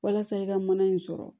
Walasa i ka mana in sɔrɔ